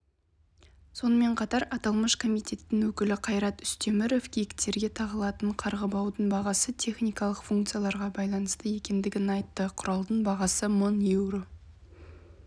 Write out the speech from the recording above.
сонымен қатар аталмыш комитеттің өкілі қайрат үстеміров киіктерге тағылатын қарғыбаудың бағасы техникалық функцияларға байланысты екендігін айтты құралдың бағасы мың еуро